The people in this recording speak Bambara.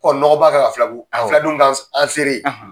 nɔgɔba ka ka filabugu, awɔ ka fila dunu k'an s an seere ye.